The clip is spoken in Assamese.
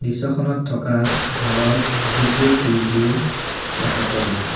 দৃশ্যখনত থকা ঘৰৰ বহুতবোৰ খিৰিকীও দেখা পোৱা গৈছে।